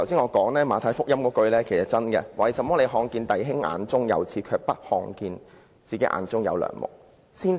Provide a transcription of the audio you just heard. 我剛才引述《馬太福音》的金句："為甚麼看見你弟兄眼中有刺，卻不想自己眼中有樑木呢？